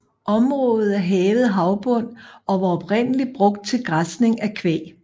Området er hævet havbund og var oprindeligt brugt til græsning af kvæg